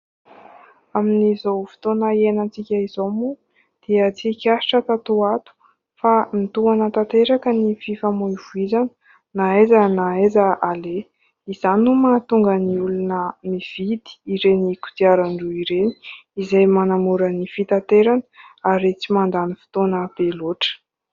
Amin'izao fotoana iainantsika izao moa dia tsikaritra tato ho ato fa mitohana tanteraka ny fifamoivoizana na aiza na aiza aleha ; izany no mahatonga ny olona mividy ireny kodiaran-droa ireny izay manamora ny fitaterana ary tsy mandany fotoana be loatra.